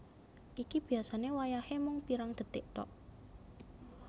Iki biasane wayahe mung pirang detik thok